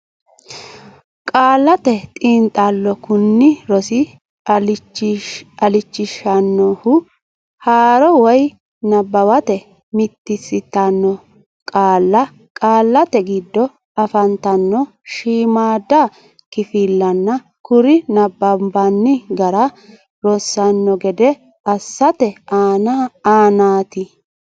Qaallate Xiinxallo Kuni rosi illachishannohu haaro woy nabbawate mitiinsitanno qaalla qaallate giddo afantanno shiimmaadda kifillanna kuri nabbanbanni gara rossanno gede assate aanaati.